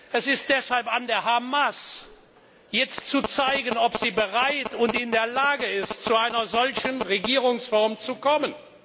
Es ist deshalb an der Hamas, jetzt zu zeigen, ob sie bereit und in der Lage ist, zu einer solchen Regierungsform zu kommen.